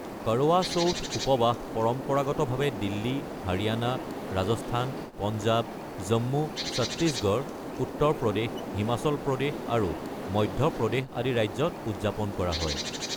কৰৱা চৌথ উপবাস পৰম্পৰাগতভাৱে দিল্লী, হাৰিয়ানা, ৰাজস্থান, পঞ্জাৱ, জম্মু, ছত্তীশগড়, উত্তৰ প্ৰদেশ, হিমাচল প্ৰদেশ আৰু মধ্য প্ৰদেশ আদি ৰাজ্যত উদযাপন কৰা হয়।